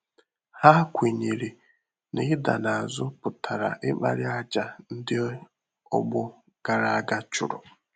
Há kwènyèrè nà ídà n’ázú pụ̀tùrà ịkpàrị́ àjà ndị́ ọgbọ gàrà ága chụ́rụ̀.